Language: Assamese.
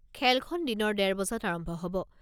খেলখন দিনৰ ডেৰ বজাত আৰম্ভ হ'ব।